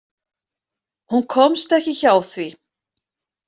Hún komst ekki hjá því.